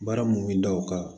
Baara mun bɛ da o kan